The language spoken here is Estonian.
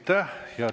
Aitäh!